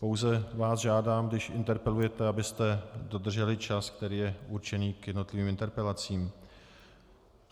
Pouze vás žádám, když interpelujete, abyste dodrželi čas, který je určený k jednotlivým interpelacím.